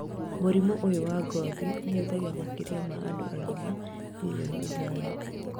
Mũrimũ ũyũ wa ngothi ũhutagia makĩria ma andũ agima mirioni ithano